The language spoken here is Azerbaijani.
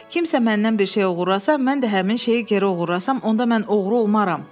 Kimsə məndən bir şey oğurlasa, mən də həmin şeyi geri oğurlasam, onda mən oğru olmaram.